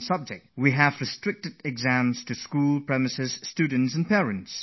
Usually the issue of exams has largely remained confined to schools, teachers, students and their families